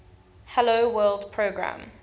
hello world program